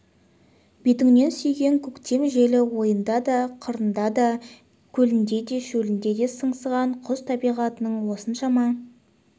бетіңнен сүйген көктем желі ойында да қырында да көлінде де шөлінде де сыңсыған құс табиғаттың осыншама